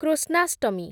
Krishnashtami